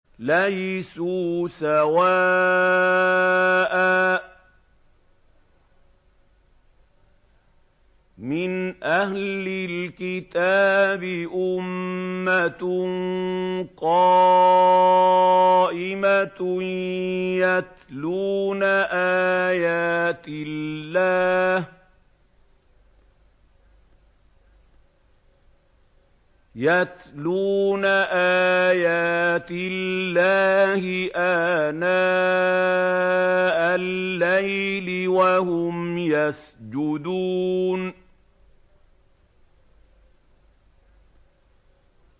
۞ لَيْسُوا سَوَاءً ۗ مِّنْ أَهْلِ الْكِتَابِ أُمَّةٌ قَائِمَةٌ يَتْلُونَ آيَاتِ اللَّهِ آنَاءَ اللَّيْلِ وَهُمْ يَسْجُدُونَ